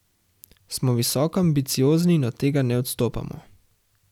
Smo visoko ambiciozni in od tega ne odstopamo.